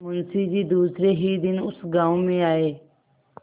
मुँशी जी दूसरे ही दिन उस गॉँव में आये